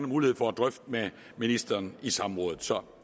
mulighed for at drøfte med ministeren i samrådet så